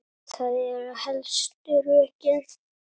Það eru helstu rökin.